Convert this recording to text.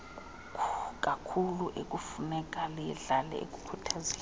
kakhuluekufuneka liyidlale ekukhuthazeni